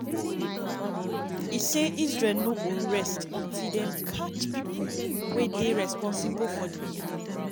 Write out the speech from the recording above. e say israel “no go rest” until dem catch pipo wey dey responsible for di killings.